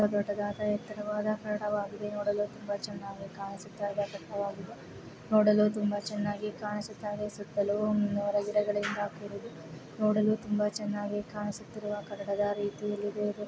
ನೋಡಲು ನೋಡಲು ತುಂಬಾ ಚೆನ್ನಾಗಿ ಕಾಣಿಸುತಿದೆ ತುಂಬಾ ಎತ್ತರವಾದ ಕರಡಗಳಿಂದ ಕೂಡಿದೆ ಇಲ್ಲಿ ಒಬ್ಬ ವ್ಯಕ್ತಿ ಕೂಡ ಇಲ್ಲೇ ಇರುತಾನೆ ನೋಡಲು ತುಂಬಾ ಚೆನ್ನಾಗಿ ಕಾಣಿಸುತ್ತದೆ ವ್ಯಕ್ತಿ ನೋಡಲು ತುಂಬಾ ಚೆನ್ನಾಗಿ ತುಂಬಾ ಟ್ರೀಟ್ಮೆಂಟ್ ಗಳಿಂದ ಕೂಡಿದೆ.